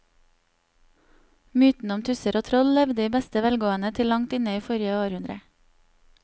Mytene om tusser og troll levde i beste velgående til langt inn i forrige århundre.